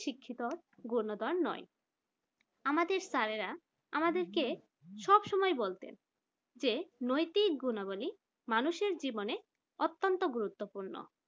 শিক্ষিত গণ্য দান নয় আমাদের স্যারেরা আমাদেরকে সবসময় বলতেন যে নৈতিক গুণাবলী মানুষের জীবনে অত্যন্ত গুরুত্বপূর্ণ।